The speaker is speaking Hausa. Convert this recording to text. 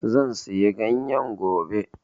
Zan siya ganyen gobe